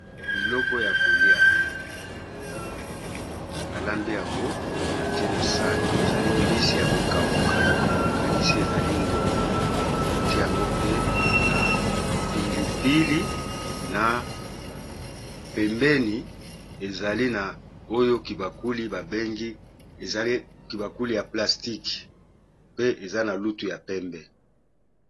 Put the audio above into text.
Biloko ya kolia balambi yango batié na sani. E ni nizali mbisi ya kokauka nakanisi ezali ngolo batie yango pe na pilipili na pembeni ezali na oyo kibakuli babengi ezali kibakuli ya plastice pe eza na lutu ya pembé.